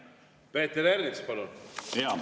Peeter Ernits, palun!